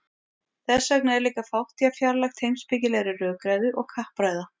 þess vegna er líka fátt jafn fjarlægt heimspekilegri rökræðu og kappræða